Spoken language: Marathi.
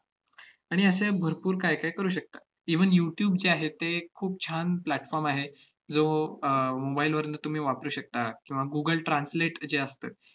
आणि अश्या भरपूर काहीकाही करू शकता. even youtube जे आहे, ते खूप छान platform आहे, जो अह mobile वरनं तुम्ही वापरू शकता किंवा google translate जे असतं,